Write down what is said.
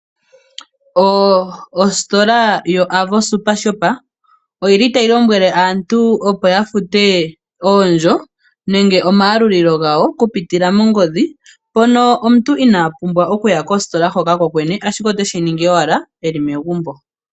Ositola yoAvo Super Shop otayi lombwele aantu opo ya fute oondjo nenge omayalulilo gawo okupitila mongodhi. Mpono omuntu inaa pumbwa okuya kositola hoka kokwene ashike oteshi ningi owala eli megumbo.